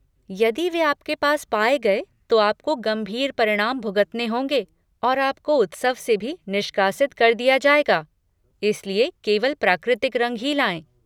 यदि वे आपके पास पाए गए, तो आपको गंभीर परिणाम भुगतने होंगे और आपको उत्सव से भी निष्कासित कर दिया जाएगा, इसलिए केवल प्राकृतिक रंग ही लाएँ।